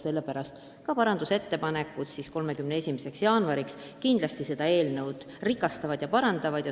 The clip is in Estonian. Samas me ootame 31. jaanuariks parandusettepanekuid, mis kindlasti eelnõu rikastavad ja parandavad.